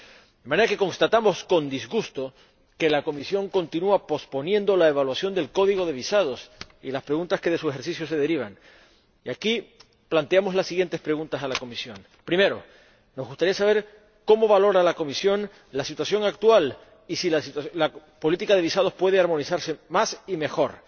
De manera que constatamos, con disgusto, que la Comisión continúa posponiendo la evaluación del código de visados y las preguntas que de su ejercicio se derivan, y aquí planteamos las siguientes preguntas a la Comisión. En primer lugar, nos gustaría saber cómo valora la Comisión la situación actual y si la política de visados puede armonizarse más y mejor.